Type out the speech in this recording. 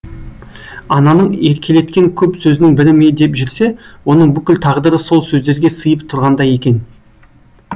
ананың еркелеткен көп сөзінің бірі ме деп жүрсе оның бүкіл тағдыры сол сөздерге сыйып тұрғандай екен